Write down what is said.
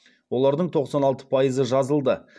олардың тоқсан алты пайызы жазылды